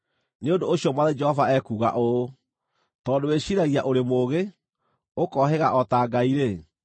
“ ‘Nĩ ũndũ ũcio Mwathani Jehova ekuuga ũũ: “ ‘Tondũ wĩciiragia ũrĩ mũũgĩ, ũkohĩga o ta ngai-rĩ,